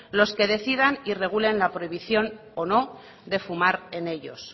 los que decidan y regulen la prohibición o no de fumar en ellos